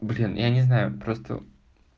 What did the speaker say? блин я не знаю просто